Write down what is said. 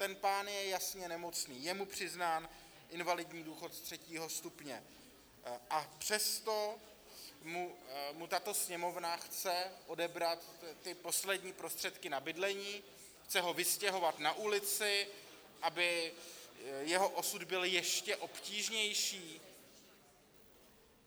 Ten pán je jasně nemocný, je mu přiznán invalidní důchod třetího stupně, a přesto mu tato Sněmovna chce odebrat ty poslední prostředky na bydlení, chce ho vystěhovat na ulici, aby jeho osud byl ještě obtížnější?